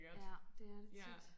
Ja det er det tit